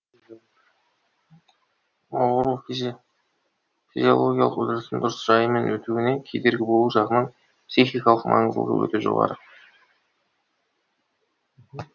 ауыру физиологиялық үрдістің дұрыс жайымен өтуіне кедергі болу жағынан психикалық маңыздылығы өте жоғары